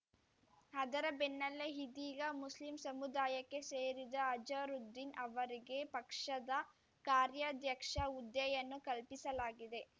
ಅದರ ಬೆನ್ನಲ್ಲೇ ಇದೀಗ ಮುಸ್ಲಿಂ ಸಮುದಾಯಕ್ಕೆ ಸೇರಿದ ಅಜರುದ್ದೀನ್‌ ಅವರಿಗೆ ಪಕ್ಷದ ಕಾರ್ಯಾಧ್ಯಕ್ಷ ಹುದ್ದೆಯನ್ನು ಕಲ್ಪಿಸಲಾಗಿದೆ